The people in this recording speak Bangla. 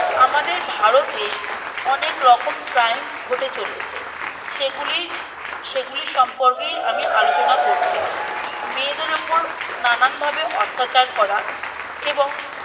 আমাদের ভারতে অনেক রকম Crime ঘটে চলেছে সেগুলি সেগুলি সম্পর্কে আমি আলোচনা করছিলাম মেয়েদের উপর নানান ভাবে অত্যাচার করা এবং